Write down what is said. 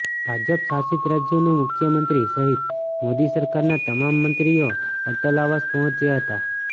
ભાજપ શાસિત રાજ્યોના મુખ્યમંત્રી સહિત મોદી સરકારના તમામ મંત્રીઓ અટલ આવાસ પહોંચ્યા હતા